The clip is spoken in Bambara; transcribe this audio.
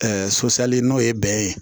sosali n'o ye bɛn ye